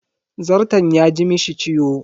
Zarton ya ji mishi ciwo.